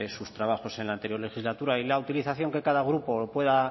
sus trabajos en la anterior legislatura y la utilización que cada grupo pueda